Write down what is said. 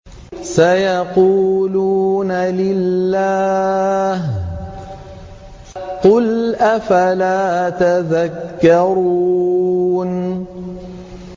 سَيَقُولُونَ لِلَّهِ ۚ قُلْ أَفَلَا تَذَكَّرُونَ